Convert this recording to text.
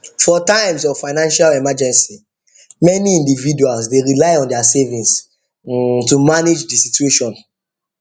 for times of financial emergency many individuals dey rely on their savings to manage the situation